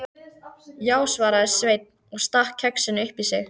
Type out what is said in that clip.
Já, svaraði Sveinn og stakk kexinu upp í sig.